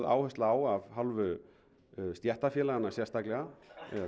áhersla á af hálfu stéttarfélaganna sérstaklega